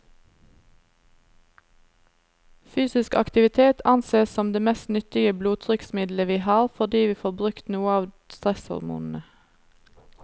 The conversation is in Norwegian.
Fysisk aktivitet ansees som det mest nyttige blodtrykksmiddelet vi har, fordi vi får brukt noe av stresshormonene.